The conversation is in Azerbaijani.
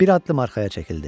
Bir addım arxaya çəkildi.